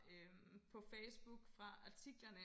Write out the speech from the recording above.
Øh på Facebook fra artiklerne